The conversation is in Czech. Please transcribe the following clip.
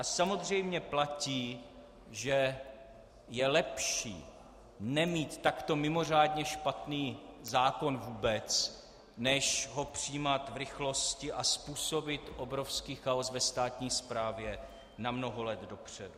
A samozřejmě platí, že je lepší nemít takto mimořádně špatný zákon vůbec než ho přijímat v rychlosti a způsobit obrovský chaos ve státní správě na mnoho let dopředu.